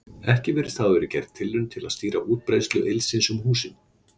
Ekki virðist hafa verið gerð tilraun til að stýra útbreiðslu ylsins um húsin.